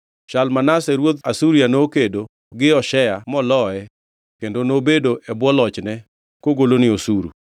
Shalmaneser ruodh Asuria nokedo gi Hoshea moloye kendo nobedo e bwo lochne kogolone osuru.